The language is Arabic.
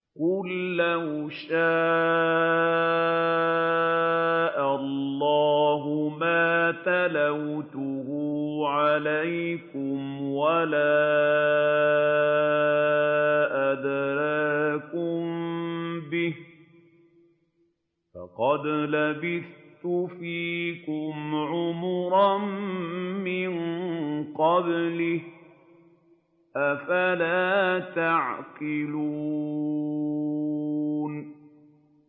قُل لَّوْ شَاءَ اللَّهُ مَا تَلَوْتُهُ عَلَيْكُمْ وَلَا أَدْرَاكُم بِهِ ۖ فَقَدْ لَبِثْتُ فِيكُمْ عُمُرًا مِّن قَبْلِهِ ۚ أَفَلَا تَعْقِلُونَ